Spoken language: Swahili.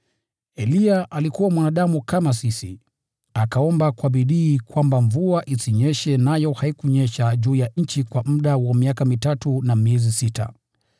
Eliya alikuwa mwanadamu kama sisi. Akaomba kwa bidii kwamba mvua isinyeshe, nayo haikunyesha juu ya nchi kwa muda wa miaka mitatu na miezi sita.